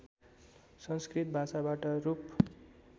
संस्कृत भाषाबाट रूप